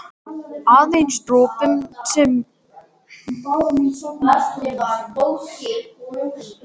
Aðeins dropinn sem breytti hnútnum í nafla.